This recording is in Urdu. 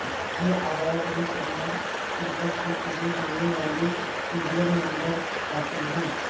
یہ اعداد و شمار صفر سے شروع ہونے والے سیریل نمبرز حاصل ہے